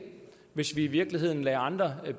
hvis vi i virkeligheden lader andre